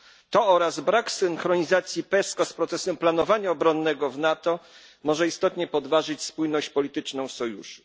To oraz brak synchronizacji PESCO z procesem planowania obronnego w NATO może istotnie podważyć spójność polityczną sojuszu.